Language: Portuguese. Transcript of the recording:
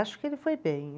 Acho que ele foi bem.